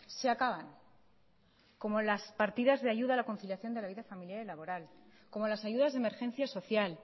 se acaban como las partidas de ayuda de la conciliación de la vida familiar y laboral como las ayudas de emergencia social